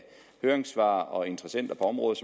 høringssvar og interessenter på området